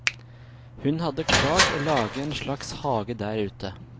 Hun hadde klart å lage en slags hage der ute.